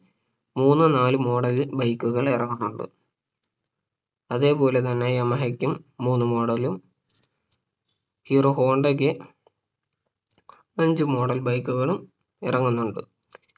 മൂന്ന് നാല് Model bike കൾ ഇറങ്ങുന്നുണ്ട് അതേപോലെ തന്നെ യമഹക്കും മൂന്ന് Model ലും ഹീറോ ഹോണ്ടക്ക് അഞ്ച് model bike കളും ഇറങ്ങുന്നുണ്ട്